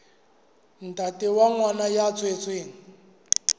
ntate wa ngwana ya tswetsweng